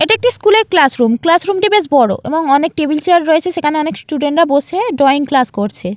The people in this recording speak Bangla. এটি একটি স্কুলের ক্লাস রুম ক্লাস রুম টি বেশ বড় এবং অনেক টেবিল চেয়ার রয়েছে সেখানে অনেক স্টুডেন্ট রা বসে ড্রয়িং ক্লাস করছে।